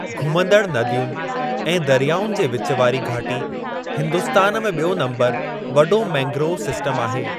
घुमंदड़ नदियुनि ऐं दरियाउनि जे विचु वारी घाटी हिंदुस्तान में ॿियो नंबर वॾो मैंग्रोव सिस्टम आहे।